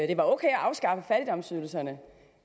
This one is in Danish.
det var ok at afskaffe fattigdomsydelserne